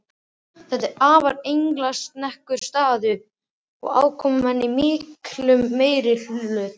Þetta var afar engilsaxneskur staður og aðkomumenn í miklum meirihluta.